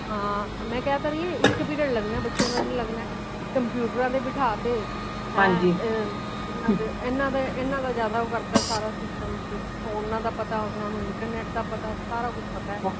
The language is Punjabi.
ਹਾਂ ਮੈ ਖ ਤੇ ਰਹੀ ਇਕ period ਲੱਗਣਾ ਬੱਚਿਆਂ ਦਾ ਜੇੜਾ ਲਗਨ। computer ਤੇ ਬਿਠਾ ਤੇ ਏਨਾ ਦਾ ਏਨਾ ਦੇ ਜ਼ਿਆਦਾ ਉਹ ਕਾਰ ਤਾ ਸਾਰਾ system phone ਦਾ ਪਤਾ ਓਨਾ ਨੂੰ internet ਦਾ ਪਤਾ ਸਾਰਾ ਕੁਛ ਪਤਾ